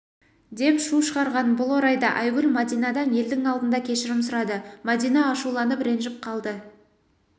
деп шу шығарған бұл орайда айгүл мәдинадан елдің алдында кешірім сұрады мәдина ашуланып ренжіп қалды